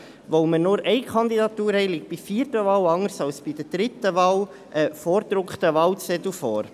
Da wir nur eine Kandidatur haben, liegt bei der vierten Wahl, anders als bei der dritten Wahl, ein vorgedruckter Wahlzettel vor.